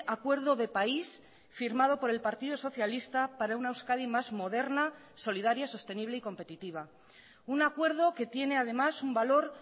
acuerdo de país firmado por el partido socialista para una euskadi más moderna solidaria sostenible y competitiva un acuerdo que tiene además un valor